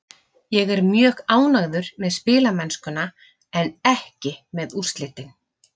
Ég er mjög ánægður með spilamennskuna en ekki með úrslitin.